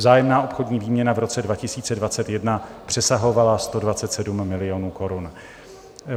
Vzájemná obchodní výměna v roce 2021 přesahovala 127 milionů korun.